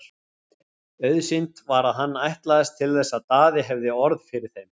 Auðsýnt var að hann ætlaðist til þess að Daði hefði orð fyrir þeim.